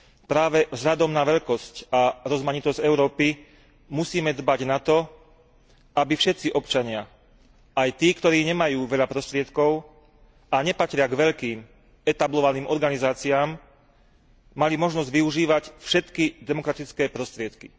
Práve vzhľadom na veľkosť a rozmanitosť Európy musíme dbať na to, aby všetci občania, aj tí, ktorí nemajú veľa prostriedkov a nepatria k veľkým etablovaným organizáciám, mali možnosť využívať všetky demokratické prostriedky.